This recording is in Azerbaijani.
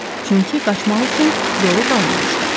Çünki qaçmaq üçün yolu qalmamışdı.